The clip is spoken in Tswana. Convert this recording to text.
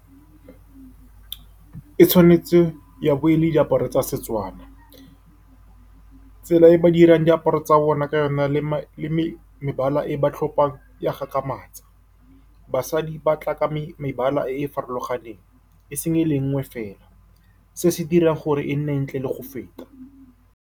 E tshwanetse ya bo e le diaparo tsa Setswana. Tsela e ba dirang diaparo tsa bona ka yona le mebala e ba tlhopang ya gakgamatsa. Basadi ba tla ka mebala e e farologaneng e seng e le nngwe fela. Se se dira gore e nne ntle le go feta.